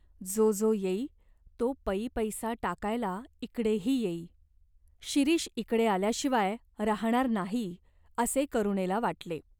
जो जो येई, तो पै पैसा टाकायला इकडेही येई. शिरीष इकडे आल्याशिवाय राहाणार नाही, असे करुणेला वाटले.